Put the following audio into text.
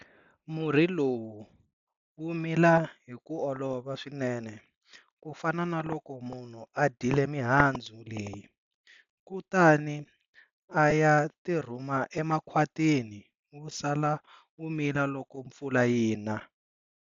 Murhi lowu wu mila hi ku olova swinene ku fana na loko munhu a dyile mihandzu leyi, kutani a ya tirhuma emakhwatini wu sala wu mila loko mpfula yi na.